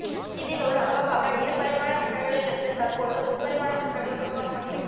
இதில் ஒரு அங்கமாக இருபரிமாண பிரிண்டர்களிலிருந்து தற்போது முப்பரிமாண பிரிண்டர்களும் உருவாக்கப்பட்டு விட்